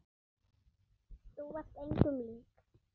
Þú varst engum lík.